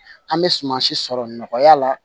An bɛ sumansi sɔrɔ nɔgɔya la